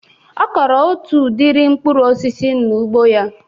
Ọ kọrọ otu udiri mkpụrụ osisi n'ugbo ya